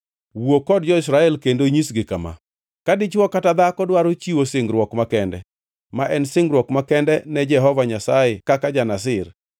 “Wuo kod jo-Israel kendo inyisgi kama: ‘Ka dichwo kata dhako dwaro chiwo singruok makende, ma en singruok makende ne Jehova Nyasaye kaka ja-Nazir,